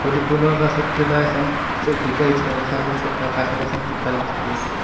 পুলৰ কাষত খেলা এখন চকী পাৰি থোৱা দেখা গৈছে তাৰ কাষত এখন ত্ৰিপাল দেখা গৈছে।